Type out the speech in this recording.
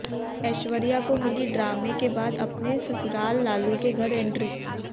ऐश्वर्या को मिली ड्रामे के बाद अपने ससुराल लालू के घर एंट्री